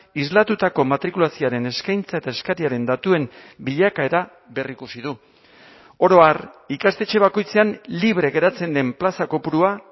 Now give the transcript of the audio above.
islatutako matrikulazioaren eskaintza eta eskariaren datuen bilakaera berrikusi du oro har ikastetxe bakoitzean libre geratzen den plaza kopurua